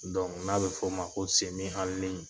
n'a bɛ f'o ma ko